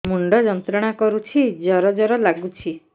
ମୁଣ୍ଡ ଯନ୍ତ୍ରଣା କରୁଛି ଜର ଜର ଲାଗୁଛି